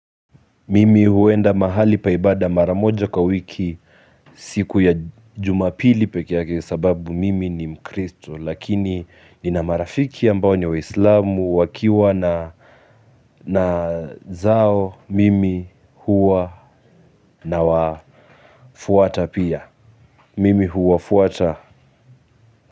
Mimi huenda mahali pa ibada mara moja kwa wiki siku ya Jumapili pekee yake sababu mimi ni mkristo lakini ni na marafiki ambao ni wa islamu wakiwa na na zao mimi huwa na wafuata pia mimi huwa fuata. Kwa hivyo.